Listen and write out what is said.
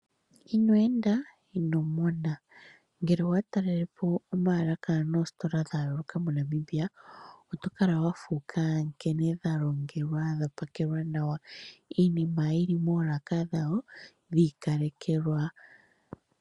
Ino enda ino mona, ngele owa ta lelepo oolaka moostola dha Namibia, oto kala wa fuuka nkene dha longelwa nawa. Iinima yili moolaka dhawo dhii kalekekwa.